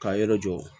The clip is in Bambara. Ka yɔrɔ jɔ